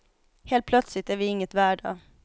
Helt plötsligt är vi inget värda.